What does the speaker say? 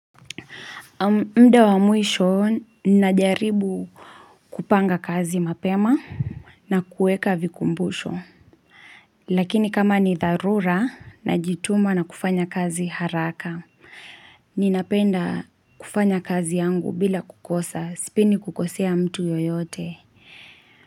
Muda wa mwisho, najaribu kupanga kazi mapema na kuweka vikumbusho Lakini kama ni dharura, najituma na kufanya kazi haraka Ninapenda kufanya kazi yangu bila kukosa, sipendi kukosea mtu yoyote.